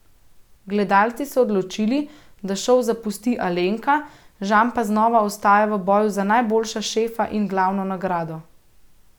Gledalci so odločili, da šov zapusti Alenka, Žan pa znova ostaja v boju za najboljšega šefa in glavno nagrado.